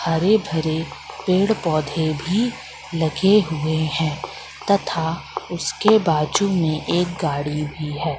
हरे भरे पेड़ पौधे भी लगे हुए हैं तथा उसके बाजू में एक गाड़ी भी है।